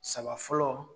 Saba fɔlɔ